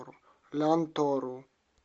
лянтору